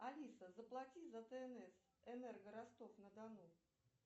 алиса заплати за тнс энерго ростов на дону